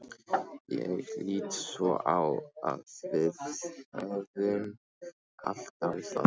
Ég lít svo á að við höfum allt á Íslandi.